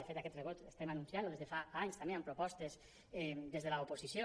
de fet aquest rebrot estem anunciant lo des de fa anys també amb propostes des de l’oposició